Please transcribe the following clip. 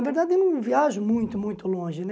Na verdade eu não viajo muito, muito longe, né?